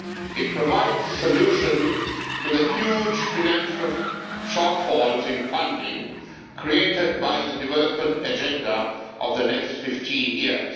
It provides a solution to the huge financial shortfalls in funding created by the development agenda for the next 15 years.